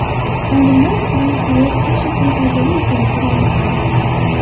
Olimlar kran suvi tish uchun foydali ekanligini aniqladi.